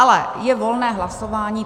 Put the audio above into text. Ale je volné hlasování.